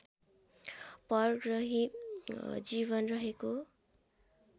परग्रही जीवन रहेको